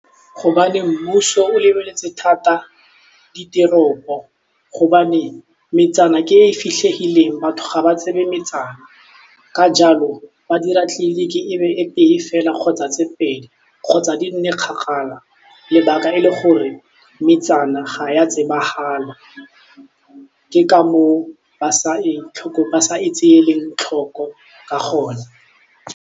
Gobane mmuso o lebeletse thata ditoropo gobane metsana ke e e fitlhegileng batho ga ba tsebe metsana, ka jalo ba dira tleliniki e be e tee fela kgotsa tse pedi kgotsa di nne kgakala lebaka e le gore metsana ga ya tsebagala ke ka moo ba sa e tseeleng tlhoko ka gona.